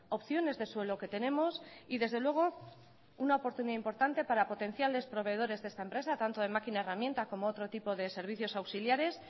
opciones de suelo que tenemos y desde luego una oportunidad importante para potenciales proveedores de esta empresa tanto en máquina herramienta como otro tipo de servicios auxiliares